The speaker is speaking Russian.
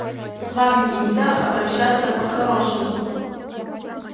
с вами нельзя обращаться по-хорошему